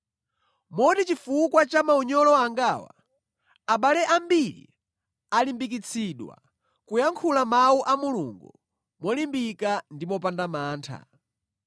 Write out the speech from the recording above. Moti chifukwa cha maunyolo angawa, abale ambiri alimbikitsidwa kuyankhula Mawu a Mulungu molimbika ndi mopanda mantha.